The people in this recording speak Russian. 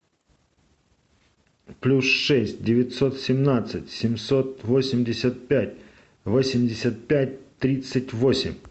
плюс шесть девятьсот семнадцать семьсот восемьдесят пять восемьдесят пять тридцать восемь